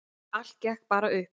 Allt gekk bara upp.